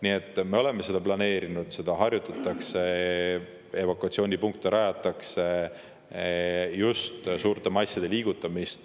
Nii et me oleme seda planeerinud, evakuatsioonipunkte rajatakse, seda harjutatakse – ka suurte masside liigutamist.